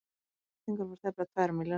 Flettingar voru tæplega tvær milljónir.